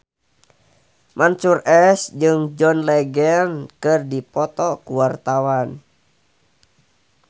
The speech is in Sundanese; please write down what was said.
Mansyur S jeung John Legend keur dipoto ku wartawan